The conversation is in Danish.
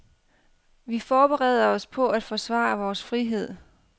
Vi forbereder os på at forsvare vores frihed.